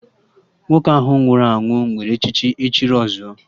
Nwoke ahụ nwụrụ anwụ nwere echichi 'Ọchịrị ọ zụọ'